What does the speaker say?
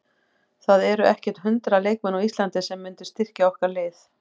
Það eru ekkert hundrað leikmenn á Íslandi sem myndu styrkja okkar lið.